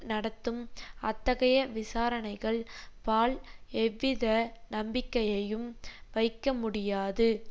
நடத்தும் அத்தகைய விசாரணைகள் பால் எவ்வித நம்பிக்கையையும் வைக்க முடியாது